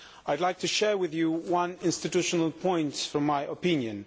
I would like to share with you one institutional point from my opinion.